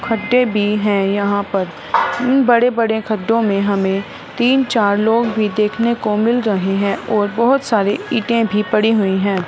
खड्डे भी है यहां पर उन बड़े-बड़े खड्डो में हमें तीन चार लोग भी देखने को मिल रहे है और बहोत सारे इंटें भी पड़ी हुई है।